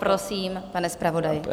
Prosím, pane zpravodaji.